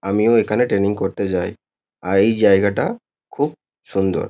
আমিও এখানে ট্রেনিং করতে যাই। আর এই জায়গাটা খুব সুন্দর।